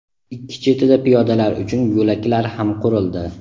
ikki chetida piyodalar uchun yo‘laklar ham qurildi.